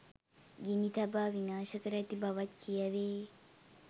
ගිනි තබා විනාශ කර ඇති බවත් කියැවේ.